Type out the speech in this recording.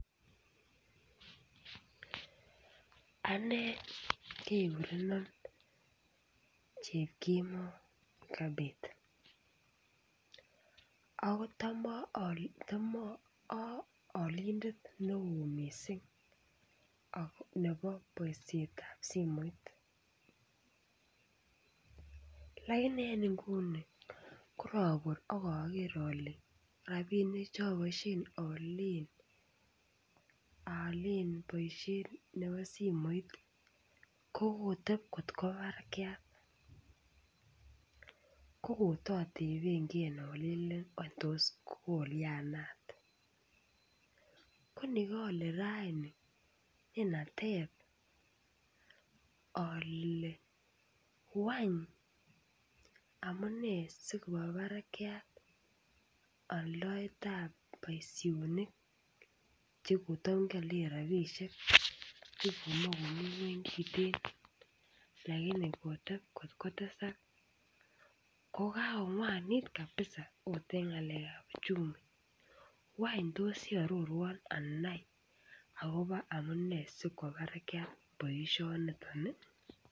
Ane kegurenon Chepkemoi eucabeth ako tom aalindet neo mising nebo boisiet ab simoit lakini any nguni korobur ak ager ale rabinik Che aboisien aalen boisiet nebo simoit ko koteb kot kwo barakyat ko koto teben ge alelen wany tos kolyanat ko ni koole raini nenateb ale wany amune si koba barakyat aldaet boisionik Che kotam kiolen rabisiek Che komoche komi ngwony kiten lakini koteb kot kotesak ko kakongwanit kabisa okot en ngalekab uchumi wany tos iaroruon anai akobo amune si kwo barak boisioniton